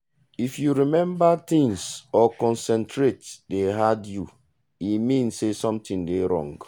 if to remember things or concentrate dey hard you e mean say something dey wrong.